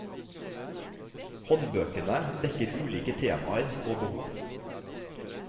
Håndbøkene dekker ulike temaer og behov.